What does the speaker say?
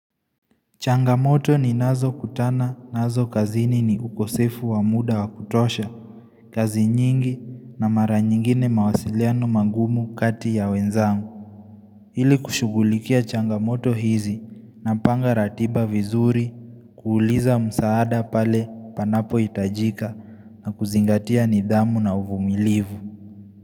Changamoto ninazo kutana, nazo kazini ni ukosefu wa muda wa kutosha. Kazi nyingi na mara nyingine mawasiliano magumu kati ya wenzangu. Ili kushughulikia changamoto hizi napanga ratiba vizuri, kuuliza msaada pale panapo hitajika na kuzingatia nidhamu na uvumilivu.